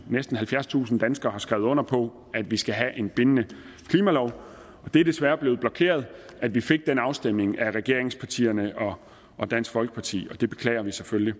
næsten halvfjerdstusind danskere har skrevet under på at vi skal have en bindende klimalov og det er desværre blevet blokeret at vi fik den afstemning af regeringspartierne og dansk folkeparti og det beklager vi selvfølgelig